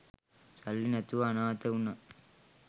සල්ලි නැතුව අනාත වුණ